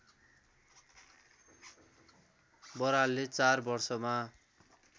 बरालले चार वर्षमा